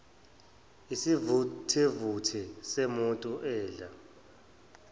isivuthevuthe semoto edla